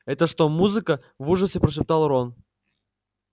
это что музыка в ужасе прошептал рон